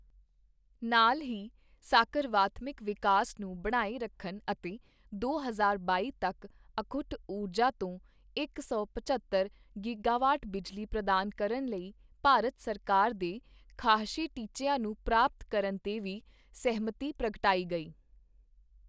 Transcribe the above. ਨਾਲ ਹੀ ਸਾਕਰਵਾਤਮਿਕ ਵਿਕਾਸ ਨੂੰ ਬਣਾਏ ਰੱਖਣ ਅਤੇ ਦੋ ਹਜ਼ਾਰ ਬਾਈ ਤੱਕ ਅਖੁੱਟ ਊਰਜਾ ਤੋਂ ਇਕ ਸੌ ਪਝੱਤਰ ਗੀਗਾਵਾਟ ਬਿਜਲੀ ਪ੍ਰਦਾਨ ਕਰਨ ਲਈ ਭਾਰਤ ਸਰਕਾਰ ਦੇ ਖਾਹਸ਼ੀ ਟੀਚਿਆਂ ਨੂੰ ਪ੍ਰਾਪਤ ਕਰਨ ਤੇ ਵੀ ਸਹਿਮਤੀ ਪ੍ਰਗਟਾਈ ਗਈ।